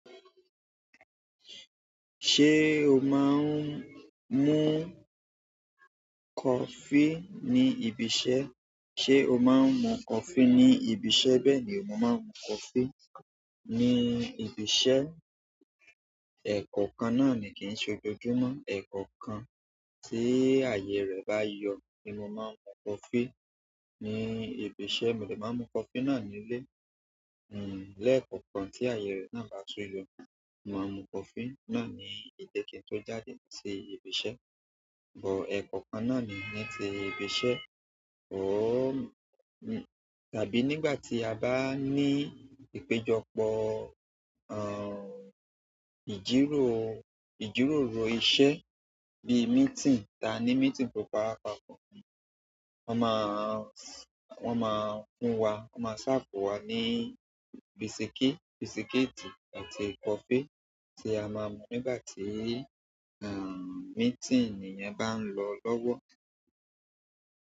Ṣé o máa ń mú coffee ní ibiṣẹ́? Sé o máa ń mú coffee ní ibiṣẹ́? Bẹ́ẹ̀ ni mo máa ń mú coffee ní ibiṣẹ́. Ẹ̀ẹ̀kọ̀kan náà ni kí n ṣe gbójú mọ́. Ẹ̀ẹ̀kọ̀kan tí àyè rẹ̀ bá yọ ni mo máa ń mú coffee ní ibiṣẹ́. Mo dè máa mú coffee náà nílé. Lẹ́ẹ̀kọ̀kan tí àyè rẹ̀ náà bá tún yọ, màá mú coffee náà ní ile ki n tó jáde sí ibiṣẹ́. Ẹ̀ẹ̀kọ̀kan náà ni ní ti ibiṣẹ́. Tàbí nígbà tí a bá ní ìpéjọpọ̀ ìjíròrò iṣẹ́ bí meeting, ta ní meeting tó pá wa pàpọ̀, wọ́n máa ń fún wa, wọ́n máa sáafu wá ní bisiki-- bisikíìtì àti coffee tí a máa mú nígbà tí, meeting yẹn bá ń lọ lọ́wọ́.